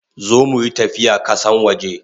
Zo muyi tafiya kasan waje!